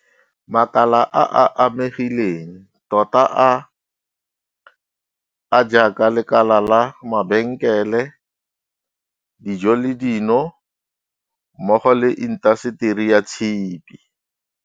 makala a a amegileng tota a a jaaka lekala la mabenkele, dijo le dino mmogo le intaseteri ya tshipi.